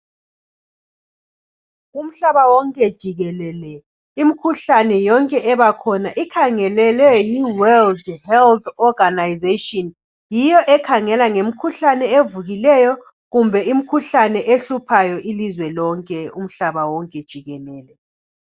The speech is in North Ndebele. Umhlaba wonke jikelele, imikhuhlane yonke ebakhona ikhangelelwe yi"World Health Organisation ".Yiyo ekhangela ngemikhuhlane evukileyo kumbe imikhuhlane ehluphayo ilizwe lonke umhlaba wonke jikelele.